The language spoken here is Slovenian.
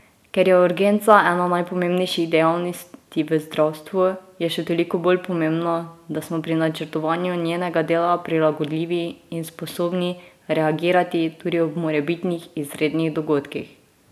Ker je urgenca ena najpomembnejših dejavnosti v zdravstvu, je še toliko bolj pomembno, da smo pri načrtovanju njenega dela prilagodljivi in sposobni reagirati tudi ob morebitnih izrednih dogodkih.